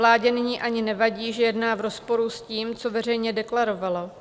Vládě nyní ani nevadí, že jedná v rozporu s tím, co veřejně deklarovala.